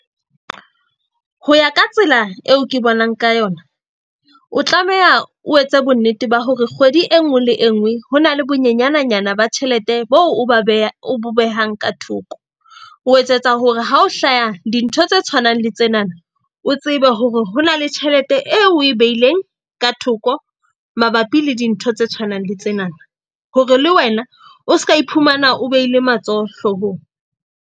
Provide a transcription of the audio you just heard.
Ho ya ka tsela eo ke bonang ka yona. O tlameha o etse bonnete ba hore kgwedi e nngwe le e nngwe ho na le bonyanenyana ba tjhelete bo o ba o bo behang ka thoko. O etsetsa hore ha ho hlaha dintho tse tshwanang le tsenana, o tsebe hore ho na le tjhelete eo o e beileng ka thoko mabapi le dintho tse tshwanang le tsenana. Hore le wena o seka iphumana o behile matsoho hloohong.